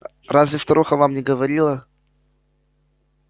разве старуха вам не говорила